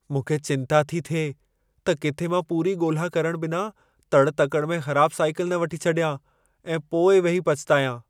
मूंखे चिंता थी थिए त किथे मां पूरी ॻोल्हा करणु बिना तड़ि- तकड़ि में ख़राब साईकल न वठी छॾियां ऐं पोइ वेही पछितायां।